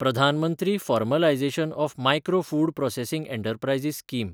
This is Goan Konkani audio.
Pradhan Mantri formalisation of micro food processing enterprises scheme